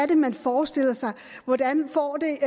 man forestiller sig hvordan får det